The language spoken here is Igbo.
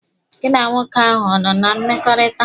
Gị na nwoke ahụ ọ nọ na mmekọrịta?